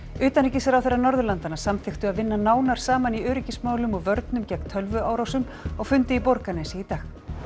utanríkisráðherrar Norðurlandanna samþykktu að vinna nánar saman í öryggismálum og vörnum gegn tölvuárásum á fundi í Borgarnesi í dag